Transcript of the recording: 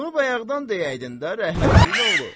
Bunu bayaqdan deyəydin də rəhmətliyin oğlu.